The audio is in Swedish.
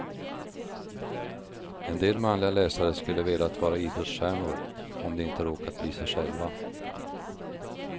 En del manliga läsare skulle velat vara idrottsstjärnor om de inte råkat bli sig själva.